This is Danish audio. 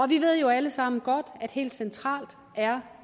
vi ved jo alle sammen godt at helt centralt er